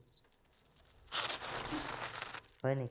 হয় নেকি ?